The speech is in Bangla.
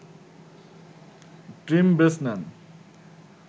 team Bresnan